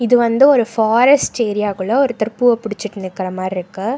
இது வந்து ஒரு ஃபாரஸ்ட் ஏரியா குள்ள ஒருத்தர் பூவ புடிச்சுட்டு நிக்கற மார்ருக்கு.